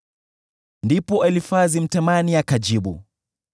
Ndipo Elifazi Mtemani akajibu: